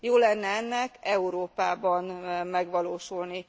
Jó lenne ennek Európában megvalósulni!